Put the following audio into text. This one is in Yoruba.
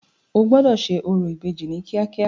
O gbọ́dọ̀ ṣe orò ìbejì ní kíákíá.